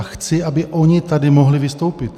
A chci, aby oni tady mohli vystoupit.